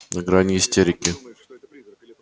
на гранью истерики